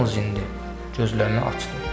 Yalnız indi gözlərini açdı.